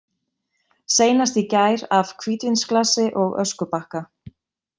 Seinast í gær af hvítvínsglasi og öskubakka.